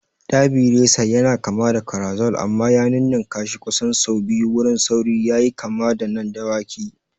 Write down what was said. Derby Racer yana kama da Carousel amma ya ninnkashi kusan sau biyu wurin sauri yayi kama da na dawakai.